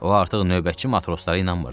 O artıq növbətçi matroslara inanmırdı.